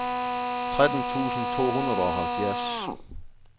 tretten tusind to hundrede og halvfems